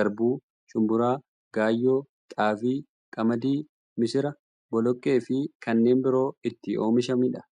garbuu, shumburaa, gaayyoo, xaafii, qamadii, misira, boloqqeefi kanneen biroo itti oomishamiidha.